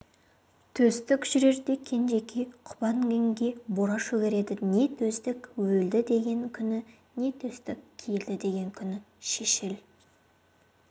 төстік жүрерде кенжекей құба інгенге бура шөгереді не төстік өлді деген күні не төстік келді деген күні шешіл